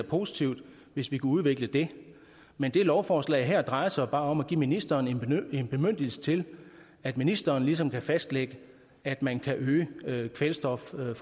positivt hvis vi kunne udvikle det men lovforslaget her drejer sig bare om at give ministeren en bemyndigelse til at ministeren ligesom kan fastlægge at man kan øge kvælstofforbruget